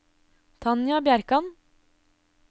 Tanja Bjerkan